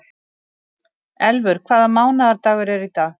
Elfur, hvaða mánaðardagur er í dag?